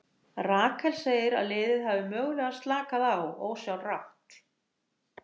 Rakel segir að liðið hafi mögulega slakað á ósjálfrátt.